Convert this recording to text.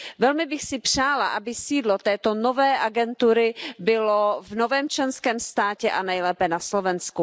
Velmi bych si přála, aby sídlo této nové agentury bylo v novém členském státě, nejlépe na Slovensku.